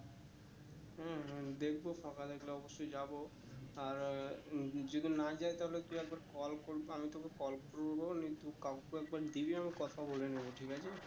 হম হম দেখবো ফাঁকা থাকলে অবশ্যই যাবো আর যদি না যাই তাহলে তুই একবার call করবি আমি তোকে করবো নে তুই কাকু কে একবার দিবি আমি কথা বলে নেবো ঠিক আছে